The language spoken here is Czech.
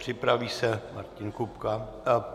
Připraví se Martin Kupka...